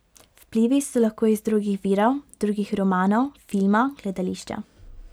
Vplivi so lahko iz drugih virov, drugih romanov, filma, gledališča ...